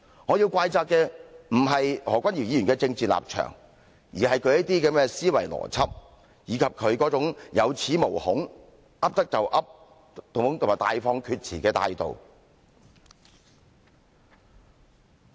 我要怪責的，不是何君堯議員的政治立場，而是他的思維邏輯，以及他這種有恃無恐，"噏得就噏"和大放厥詞的態度。